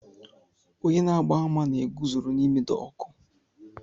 Onye na-agba àmà na-eguzoro n'ime dọọkụ